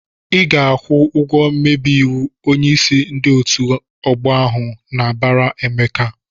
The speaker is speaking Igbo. "Ị ga-akwụ ego mmebi iwu!" Onyeisi ndị otu ọgbọ ahụ na-abara Emeka.